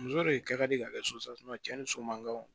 Muso de kɛ ka di ka kɛ cɛn ni so man kaw